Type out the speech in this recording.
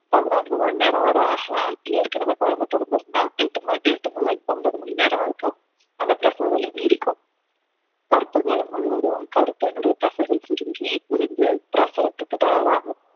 பதினான்கு மணி நேரம் வரை ஆகலாம் ஏற்கனவே குழந்தை பிறந்து இருந்தால் எட்டு ம~ முதல் ஒன்பது மணி நேரம் வரைக்கும் அந்த பிரசவ வலி நீடிக்கும் கர்ப்ப காலம் முழுவதும் கருப்பையினுடைய தசைகள் சுருங்கி விரிந்து பிரசவத்துக்கு தயாராகும்